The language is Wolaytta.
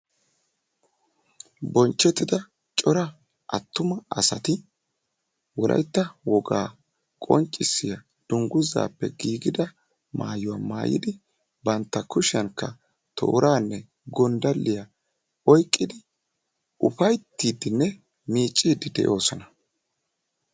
bonchttida corra attuma assati wolaytta wogaa maayuwa maayidi bantta kushiyanikka gondaliyanne toorra oyqidi eqqidi beettosona.